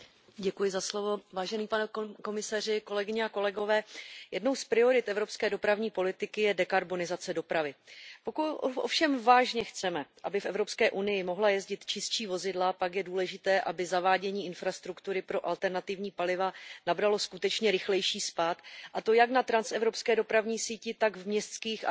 Paní předsedající, jednou z priorit evropské dopravní politiky je dekarbonizace dopravy. Pokud ovšem vážně chceme, aby v Evropské unii mohla jezdit čistší vozidla, pak je důležité, aby zavádění infrastruktury pro alternativní paliva nabralo skutečně rychlejší spád, a to jak na transevropské dopravní síti, tak v městských a příměstských oblastech.